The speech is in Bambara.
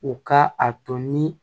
U ka a to ni